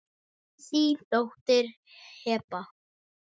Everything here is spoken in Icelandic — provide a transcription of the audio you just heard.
Þín dóttir Heba.